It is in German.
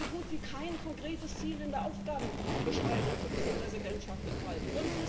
Da ist so gut wie kein konkretes Ziel in der Aufgabenbeschreibung für diese Präsidentschaft enthalten.